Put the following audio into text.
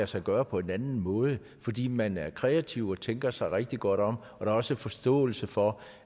sig gøre på en anden måde fordi man er kreativ og tænker sig rigtig godt om og der også forståelse for